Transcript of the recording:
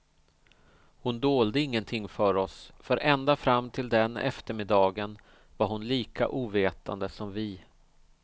Hon dolde ingenting för oss, för ända fram till den eftermiddagen var hon lika ovetande som vi.